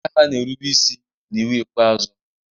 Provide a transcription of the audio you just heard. ndị agha na-erube isi n'iwu ikpeazụ